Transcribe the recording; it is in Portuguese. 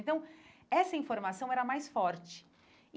Então, essa informação era a mais forte e.